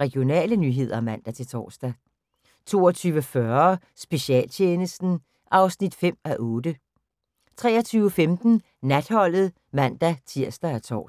Regionale nyheder (man-tor) 22:40: Specialtjenesten (5:8) 23:15: Natholdet (man-tir og tor)